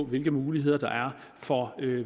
hvilke muligheder der er for